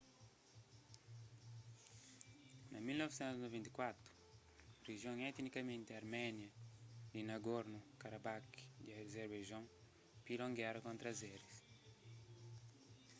na 1994 rijion etnikamenti arménia di nagorno-karabakh di azerbaijon pila un géra kontra azeris